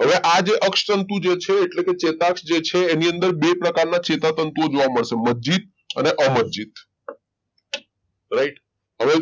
હવે આજે અપ્સ તંતુ જે છે એટલે કે ચેતક જે છે એની અંદર બે પ્રકારના ચેતાતંતુ જોવા મળતા હશે મજજીત અને અમરજીત right હવે